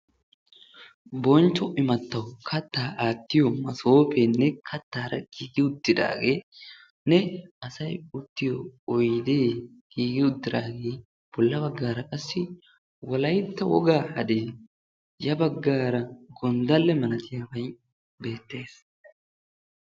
Bonchcho imaattawu kattaa aattiyo masoofeenne kattaara giigi uttidaageenne asayi uttiyo oydee giigi uttidaagee bolla baggaara qassi wolaytta wogaa hadee ya baggaara gonddalle malatiyabayi beettes.